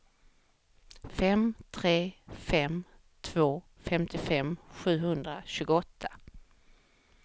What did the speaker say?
fem tre fem två femtiofem sjuhundratjugoåtta